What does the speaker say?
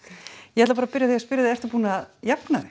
ég ætla bara að byrja að spyrja þig ertu búin að jafna þig